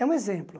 É um exemplo.